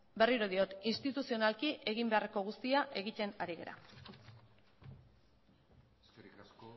berriro diot instituzionalki egin beharreko guztia egiten ari gara eskerrik asko